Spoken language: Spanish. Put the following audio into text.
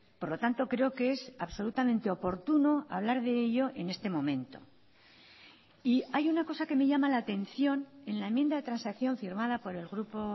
por lo tanto creo que es absolutamente oportuno hablar de ello en este momento y hay una cosa que me llama la atención en la enmienda de transacción firmada por el grupo